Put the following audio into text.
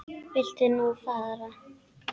Viltu nú fara!